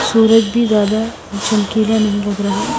सूरज भी ज्यादा धमकीला नहीं लग रहा ।